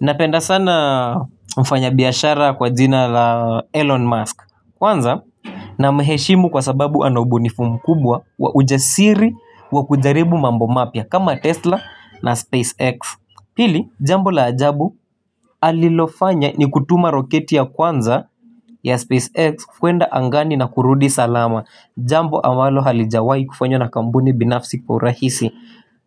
Napenda sana mfanya biyashara kwa jina la Elon Musk kwanza na mheshimu kwa sababu ana ubunifu mkubwa wa ujasiri wa kujaribu mambo mapya kama Tesla na SpaceX Hili jambo la ajabu alilofanya ni kutuma roketi ya kwanza ya SpaceX kuenda angani na kurudi salama jambo ambalo halijawahi kufanywa na kampuni binafsi kwa urahisi